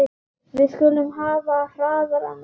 Við skulum hafa hraðann á.